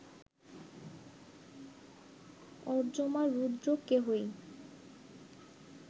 অর্য্যমা, রুদ্র, কেহই